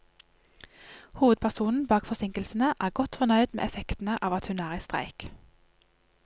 Hovedpersonen bak forsinkelsene er godt fornøyd med effektene av at hun er i streik.